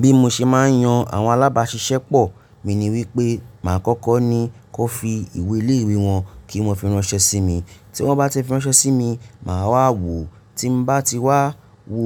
Bí mo ṣe máa ń yan àwọn alábáṣiṣẹ́ pọ̀, mi ní wípé màá kọ́kọ́ ni kán fi ìwé iléèwé wọn kí wón fi ránṣẹ́ sí mi. Tí wón bá ti fi ránṣẹ́ sí mi, màá wá wo, tí n bá ti wá wo